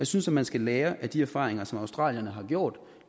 synes at man skal lære af de erfaringer som australierne har gjort